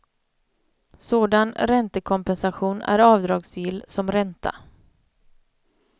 Sådan räntekompensation är avdragsgill som ränta.